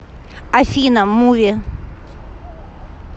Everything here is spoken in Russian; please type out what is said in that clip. афина муви